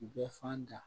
Bɛɛ fan da